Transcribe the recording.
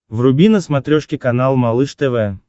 вруби на смотрешке канал малыш тв